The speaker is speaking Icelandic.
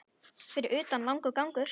Fyrir utan langur gangur.